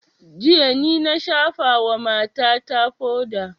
Jiya ni na shafa wa mata ta foda